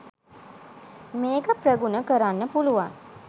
මේක ප්‍රගුණ කරන්න පුළුවන්